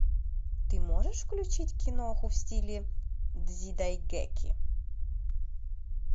ты можешь включить киноху в стиле дзидайгэки